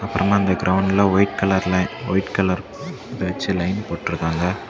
அப்புறமா இந்த கிரவுண்ட்ல ஒயிட் கலர்ல ஒயிட் கலர் வச்சி லைன் போட்டு இருக்காங்க.